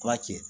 Kura cɛ